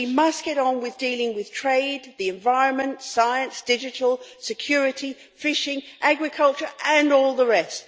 We must get on with dealing with trade, the environment, science, digital, security, fishing, agriculture, and all the rest.